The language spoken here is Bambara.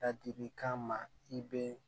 Ladili kan ma i bɛ